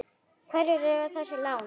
Hverjir eiga þessi lán?